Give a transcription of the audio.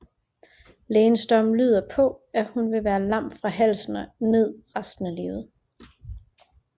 Lægens dom lyder på at hun vil være lam fra halsen og ned resten af livet